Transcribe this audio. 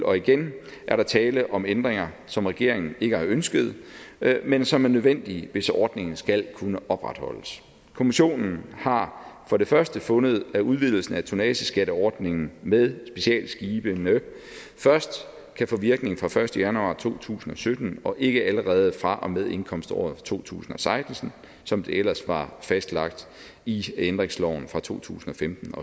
og igen er der tale om ændringer som regeringen ikke har ønsket men som er nødvendige hvis ordningen skal kunne opretholdes kommissionen har for det første fundet at udvidelsen af tonnageskatteordningen med specialskibene først kan få virkning fra den første januar to tusind og sytten og ikke allerede fra og med indkomståret to tusind og seksten som det ellers var fastlagt i ændringsloven fra to tusind og femten